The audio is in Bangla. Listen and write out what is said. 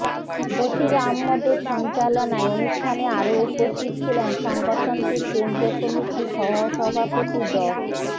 বশীর আহম্মদের সঞ্চালনায় অনুষ্ঠানে আরো উপস্থিত ছিলেন সংগঠনটির কেন্দ্রীয় কমিটির সহসভাপতি ড